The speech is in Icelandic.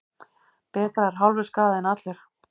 Betra er hálfur skaði en allur.